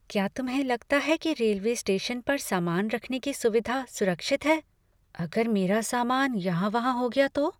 क्या तुम्हें लगता है कि रेलवे स्टेशन पर सामान रखने की सुविधा सुरक्षित है? अगर मेरा सामान यहाँ वहाँ हो गया तो?